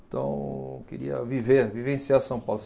Então, eu queria viver, vivenciar São Paulo.